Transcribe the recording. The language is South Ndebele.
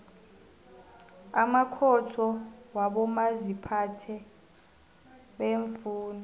amakhotho wabomaziphathe beemfunda